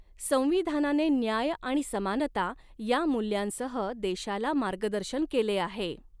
संविधानाने न्याय आणि समानता या मूल्यांसह देशाला मार्गदर्शन केले आहे.